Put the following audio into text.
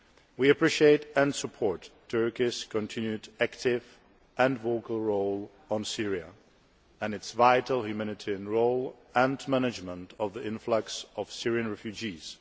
We appreciate and support Turkey's continued active and vocal role on Syria and its vital humanitarian role and management of the influx of Syrian refugees.